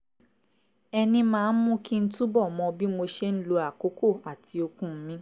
ẹni máa ń mú kí n túbọ̀ mọ bí mo ṣe ń lo àkókò àti okun mi